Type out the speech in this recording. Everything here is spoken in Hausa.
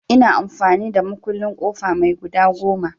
Ina amfani da mukullin ƙofa mai guda goma.